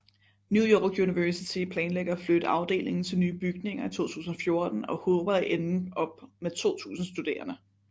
New York University planlægger at flytte afdelingen til nye bygninger i 2014 og håber at ende op med 2000 studerende